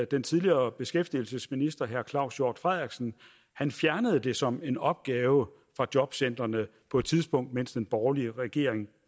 den tidligere beskæftigelsesminister herre claus hjort frederiksen fjernede det som en opgave for jobcentrene på et tidspunkt mens den borgerlige regering